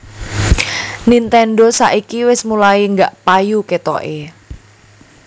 Nintendo saiki wes mulai gak payu ketoke